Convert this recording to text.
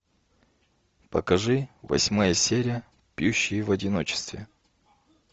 покажи восьмая серия пьющие в одиночестве